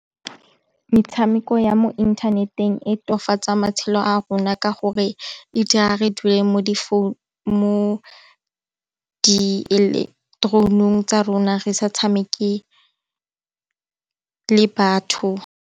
Metshameko ya mo inthaneteng e matshelo a rona ka gore e dira re dule mo di ilektrounong tsa rona re sa tshameke le batho.